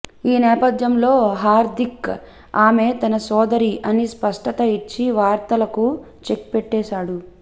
ఈ నేపథ్యంలో హార్దిక్ ఆమె తన సోదరి అని స్పష్టత ఇచ్చి వార్తలకు చెక్ పెట్టేశాడు